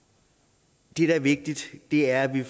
det der er vigtigt er at vi